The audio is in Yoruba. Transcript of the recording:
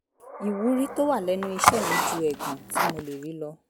ìwúrí tó wà lẹ́nu iṣẹ́ mi ju ẹ̀gàn tí mo lè rí lọ